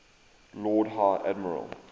lord high admiral